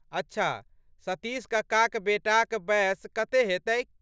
अच्छा, सतीश कक्काक बेटाक बएस कते हेतैक?